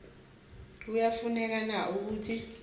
kuyafuneka na ukuthi